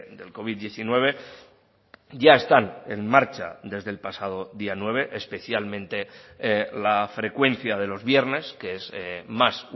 del covid diecinueve ya están en marcha desde el pasado día nueve especialmente la frecuencia de los viernes que es más